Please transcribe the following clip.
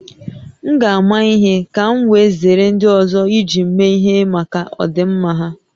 M ga-ama ihe ka m wee zere ndị ọzọ iji m mee ihe maka ọdịmma ha